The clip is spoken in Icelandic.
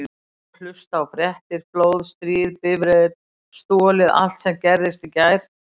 Og hlusta á fréttir: flóð, stríð, bifreið stolið allt sem gerðist í gær.